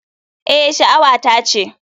Eh, sha'awata ce.